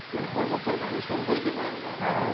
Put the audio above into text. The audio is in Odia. ମାନେ ପର୍ବ ପର୍ବାଣି ବି ସବୁ ଭରିକି ରହିବ ନାଇଁ କି